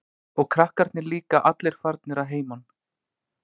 Og krakkarnir líka allir farnir að heiman.